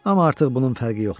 Amma artıq bunun fərqi yoxdur.